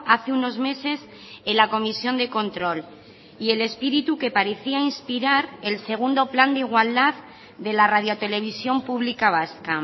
hace unos meses en la comisión de control y el espíritu que parecía inspirar el segundo plan de igualdad de la radio televisión pública vasca